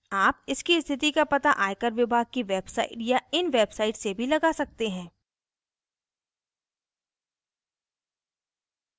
आप इसकी स्थिति का पता आयकर विभाग की website या इन website से भी लगा सकते हैं